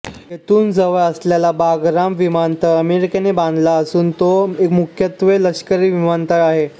येथून जवळ असलेला बागराम विमानतळ अमेरिकेने बांधला असून तो मुख्यत्वे लष्करी विमानतळ आहे